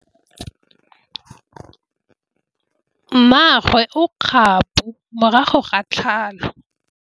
Mmagwe o kgapô morago ga tlhalô.